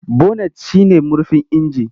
Bonet shi ne murfin inji.